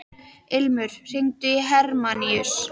Ilmur, hringdu í Hermanníus.